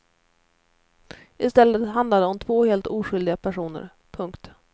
I stället handlade det om två helt oskyldiga personer. punkt